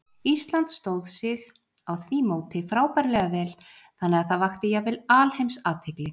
Ísland stóð sig á því móti frábærlega vel, þannig að það vakti jafnvel alheimsathygli.